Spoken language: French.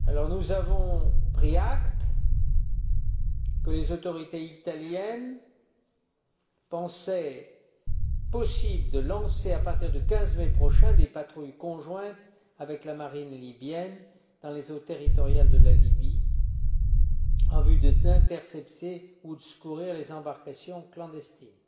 Nous avons pris acte du fait que les autorités italiennes estimaient possible de lancer, à partir du 15 mai prochain, des patrouilles conjointes avec la marine libyenne, dans les eaux territoriales de la Libye, en vue d'intercepter ou de secourir les embarcations clandestines.